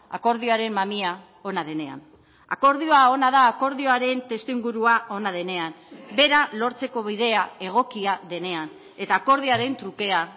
akordioaren mamia ona denean akordioa ona da akordioaren testuingurua ona denean bera lortzeko bidea egokia denean eta akordioaren trukea